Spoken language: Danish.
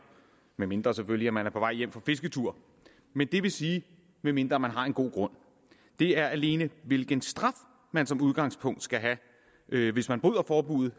medmindre selvfølgelig at man er på vej hjem fra fisketur det vil sige medmindre man har en god grund det er alene hvilken straf man som udgangspunkt skal have hvis man bryder forbuddet